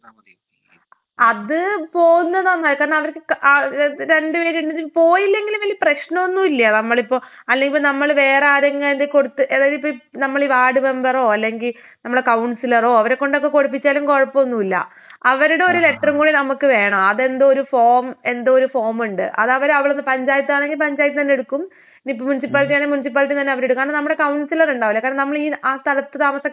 അത് പോവുന്നതാ നല്ലത് കാരണം അവര്‍ക്ക് രണ്ട് പേരും പോയില്ലെങ്കിലും വല്ല്യ പ്രശ്നമൊന്നും ഇല്ലാ. നമ്മളിപ്പൊ അല്ലെങ്കി നമ്മള് വേറെ ആരെങ്കിലും കയ്യില് കൊടുത്ത് അതായതിപ്പോ നമ്മടെ ഈ വാർഡ് മെമ്പറോ അല്ലെങ്കി നമ്മടെ കൌൺസിലറോ അവരെ കൊണ്ടൊക്കെ കൊടുപ്പിച്ചാലും കൊഴപ്പൊന്നൂല്ലാ. അവരുടെ ഒരു ലെറ്ററും കൂടി നമുക്ക് വേണം അതെന്തോ ഒരു ഫോം, എന്തോ ഒരു ഫോമുണ്ട്. അതവര് അവരുടെ പഞ്ചായത്ത് ആണെങ്കി പഞ്ചായത്ത് തന്നേ എടുക്കും.ഇനി മുനിസിപ്പാലിറ്റി ആണെങ്കി മുനിസിപ്പാലിറ്റി തന്നേ അവരെടുക്കും. കാരണം നമ്മടെ കൌൺസിലറുണ്ടാവില്ലേ കാരണം നമ്മളീ ആ സ്ഥലത്ത് താമസക്കാരാണോ എന്നറിയാൻ വേണ്ടീട്ട്.